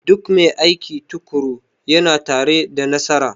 Duk mai aiki tukuru yana tare da nasara